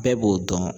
Bɛɛ b'o dɔn